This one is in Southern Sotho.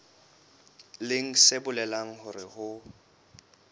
leng se bolelang hore ho